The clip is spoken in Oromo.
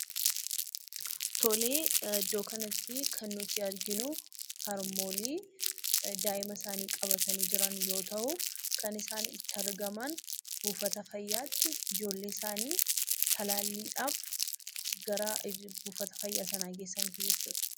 Tolee, iddoo kanatti kan nuti arginuu, harmoolii daa'ima isaanii qabatanii jiran yoo ta'uu, kan isaan itti argaman buufata fayyaatti ijoollee isaanii talaalliidhaaf gara buufata fayyaa sana geessanii tu jechuudha.